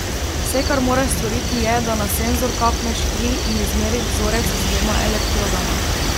Vse, kar moraš storiti, je, da na senzor kapneš kri in izmeriš vzorec z dvema elektrodama.